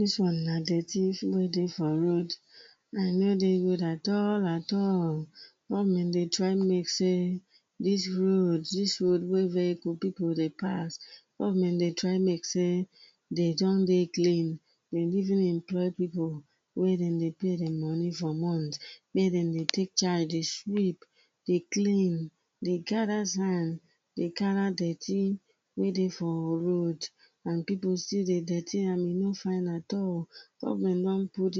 Dis one na dirty wey dey for road and e nor dey good at all at all. Government dey try make sey dis road dis road wey vehicle pipu dey pass government dey try make sey dem don dey clean dem even employ pipu wey dem dey pay dem money for month make dem dey take charge dey sweep dey clean dey gather sand dey gather dirty wey dey for our road and pipu still dey dirty am and e nor fine at all. Government don put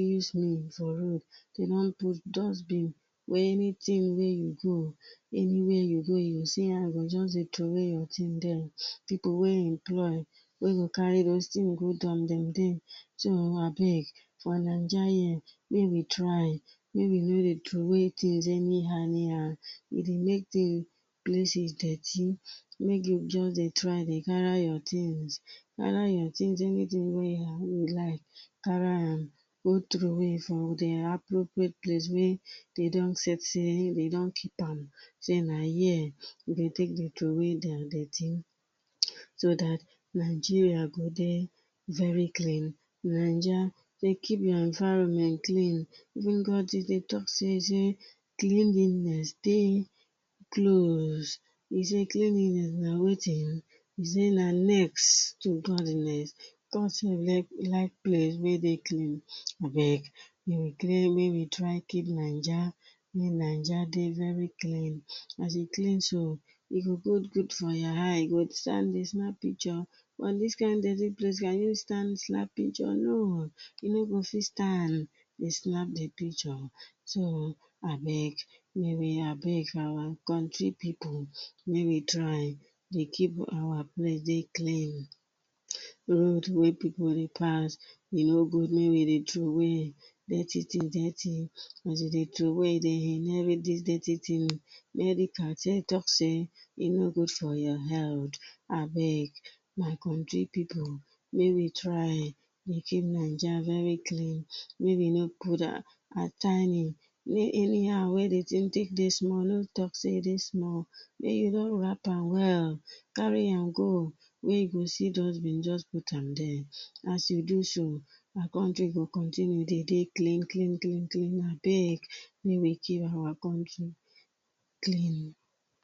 for road dem don put dustbin wey anything wey you go any where you dey you see am you just dey throw way your thing there pipu wey employ wey go carry those thing go dump dem dey so abeg for Naija here make we try make we nor dey throw way things any how any how e dey make thing, places dirty make you just dey try dey gather your things gather your things and thing wey you like carry am go throw way for de appropriate place wey dem don set wey dem don keep am say na here we go take dey throw way dem dirty so dat Nigeria go dey very clean Naija to keep our environment clean even God dey talk say cleanliness dey close e say cleanliness na wetin,e say na next to godliness. God self like, like place wey dey clean abeg make we make try keep Naija make Naija dey very clean as e clean so e go, go good for your eye you go stand dey snap picture but dis kind dirty place can you stand snap picture, no! um you nor go fit stand dey snap picture so abeg make we abeg our country pipu make we try dey keep our place dey clean road wey pipu dey pass e nor good make we dey throw way dirty things, dirty, as you dey throw way dirty thing medical talk say e nor go food your health abeg my country pipu make we try dey keep Naija very clean make we nor put how tiny any how e take dey small small nor talk say e dey small wrap am well carry am go where you go see dustbin just put am there as you do so our country go continue dey dey clean clean clean clean, abeg make we keep our country clean.